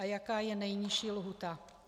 A jaká je nejnižší lhůta?